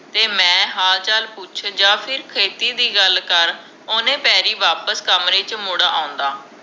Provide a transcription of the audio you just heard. ਤੇ ਮੈਂ ਹਾਲ ਚਾਲ ਪੁੱਛ ਜਾ ਫਿਰ ਖੇਤੀ ਦੀ ਗੱਲ ਕਰ ਓਹਨੇ ਪੈਰੀ ਵਾਪਿਸ ਕਮਰੇ ਚ ਮੁੜ ਆਉਂਦਾ